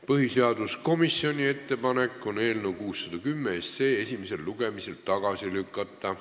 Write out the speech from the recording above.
Põhiseaduskomisjoni ettepanek on eelnõu 610 esimesel lugemisel tagasi lükata.